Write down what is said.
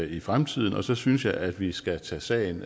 i fremtiden og så synes jeg at vi skal tage sagen